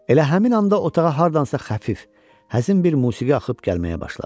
Elə həmin anda otağa hardansa xəfif, həzin bir musiqi axıb gəlməyə başladı.